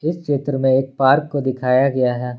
इस चित्र में एक पार्क को दिखाया गया है।